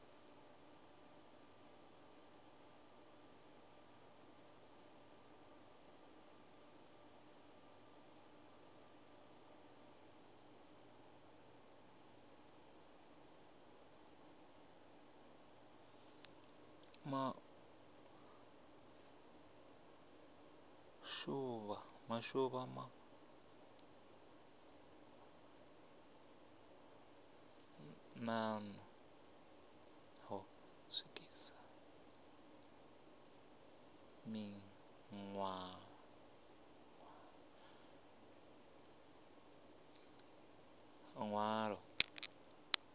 maḓuvha maṱanu ho swikiswa ḽiṅwalo